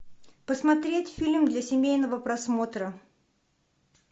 посмотреть фильм для семейного просмотра